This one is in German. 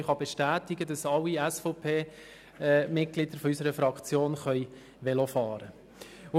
Ich kann bestätigen, dass alle Mitglieder der SVP-Fraktion Velo fahren können.